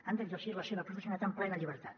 han d’exercir la seva professionalitat amb plena llibertat